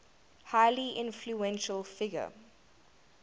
highly influential figure